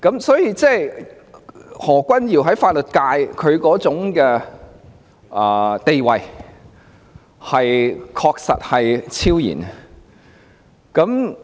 所以，何君堯議員在法律界的地位確實是超然的。